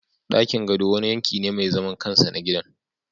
Dakin gado wani yanki ne mai zaman kansa na gidan